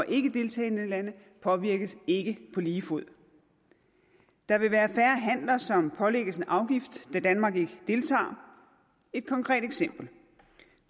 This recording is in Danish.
ikkedeltagende lande påvirkes ikke på lige fod der vil være færre handler som pålægges en afgift da danmark ikke deltager et konkret eksempel